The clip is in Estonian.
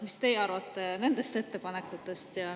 Mis teie arvate nendest ettepanekutest?